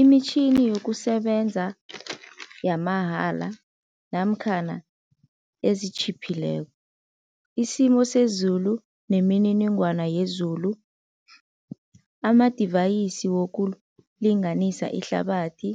Imitjhini yokusebenza yamahala namkhana ezitjhiphileko, isimo sezulu nemininingwana yezulu, amadivayisi wokulinganisa ihlabathi,